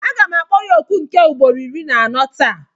Aga m akpọ ya oku nke ugboro iri na anọ taa.